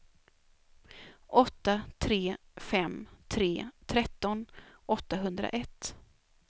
åtta tre fem tre tretton åttahundraett